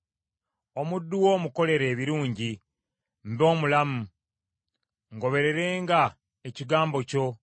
Omuddu wo omukolere ebirungi, mbe omulamu, ngobererenga ekigambo kyo.